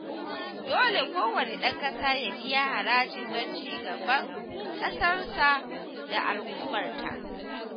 Dole kowanne ɗan ƙasa ya biya haraji don ci gaban ƙasarsa da al'ummarta